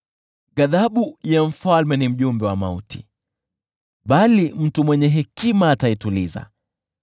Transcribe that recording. Ghadhabu ya mfalme ni mjumbe wa mauti, bali mtu mwenye hekima ataituliza.